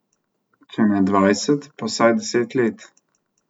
Če ne dvajset, pa vsaj deset let.